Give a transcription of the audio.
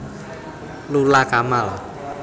Lula Kamal